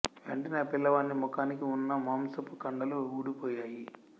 వెంటనే ఆ పిల్లవాని ముఖానికి వున్న మాంసపు ఖండలు వూడిపోయాయి